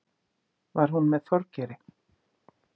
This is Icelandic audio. Var hún með Þorgeiri?